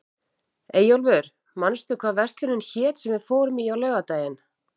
Eyjólfur, manstu hvað verslunin hét sem við fórum í á laugardaginn?